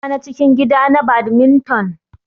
Za ayi gasa na cikin gida na badminton.